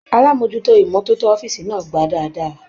Alamojuto imọ̀toto ọ̀fiísí náà gbà dáadáa.